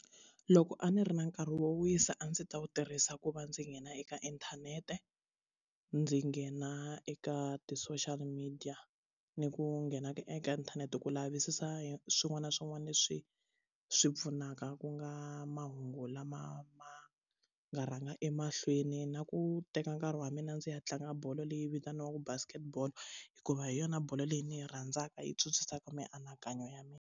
Loko a ni ri na nkarhi wo wisa a ndzi ta wu tirhisa ku va ndzi nghena eka inthanete ndzi nghena eka ti social media ni ku nghena eka inthanete ku lavisisa hi swin'wana na swin'wana leswi swi pfunaka ku nga mahungu lama ma nga rhanga emahlweni na ku teka nkarhi wa mina ndzi ya tlanga bolo leyi vitaniwaka basket ball hikuva hi yona bolo leyi ni yi rhandzaka yi mianakanyo ya mina.